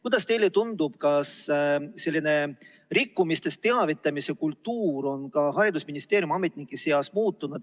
Kuidas teile tundub, kas selline rikkumistest teavitamise kultuur on ka haridusministeeriumi ametnike seas muutunud?